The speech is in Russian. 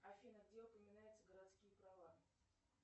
афина где упоминаются городские права